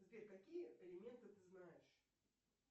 сбер какие элементы ты знаешь